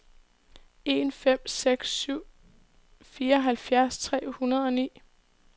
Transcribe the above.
en fem seks syv fireoghalvfjerds tre hundrede og ni